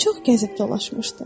O çox gəzib dolaşmışdı.